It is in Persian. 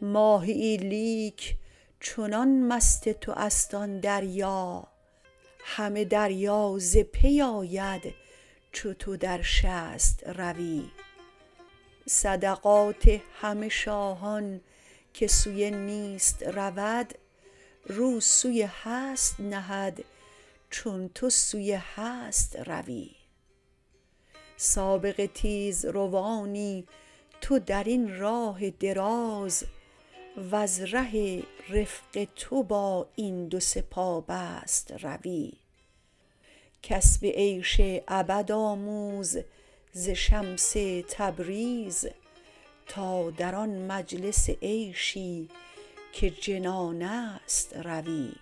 ماهیی لیک چنان مست توست آن دریا همه دریا ز پی آید چو تو در شست روی صدقات همه شاهان که سوی نیست رود رو سوی هست نهد چون تو سوی هست روی سابق تیزروانی تو در این راه دراز وز ره رفق تو با این دو سه پابست روی کسب عیش ابد آموز ز شمس تبریز تا در آن مجلس عیشی که جنان است روی